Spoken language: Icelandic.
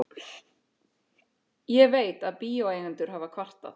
Ég veit, að bíóeigendur hafa kvartað.